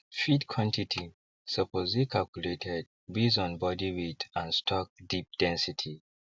feed quantity suppose dey calculated based on body weight and stock deep density